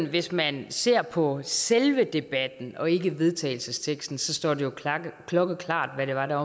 at hvis man ser på selve debatten og ikke på vedtagelsesteksten står det jo klokkeklart hvad det var der